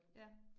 Ja